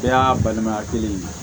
E y'a balimaya kelen ye